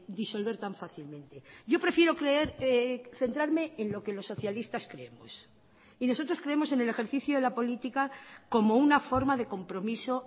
disolver tan fácilmente yo prefiero creer centrarme en lo que los socialistas creemos y nosotros creemos en el ejercicio de la política como una forma de compromiso